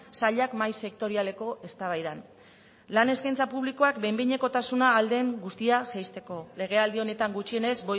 sailak mahai sektorialeko eztabaidan lan eskaintza publikoak behin behinekotasuna ahal den guztia jaisteko legealdi honetan gutxienez